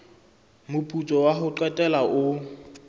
moputso wa ho qetela o